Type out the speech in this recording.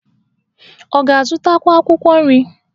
Ọ ga-azụtakwu akwụkwọ nri?